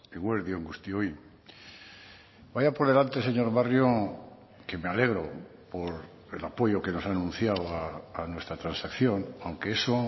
eguerdi on guztioi vaya por delante señor barrio que me alegro por el apoyo que nos ha anunciado a nuestra transacción aunque eso